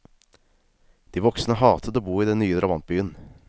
De voksne hatet å bo i den nye drabantbyen.